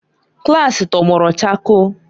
klaasị tọgbọrọ chakoo.